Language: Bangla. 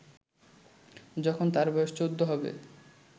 যখন তার বয়স চৌদ্দ হবে